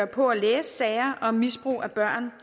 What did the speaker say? på at læse sager om misbrug af børn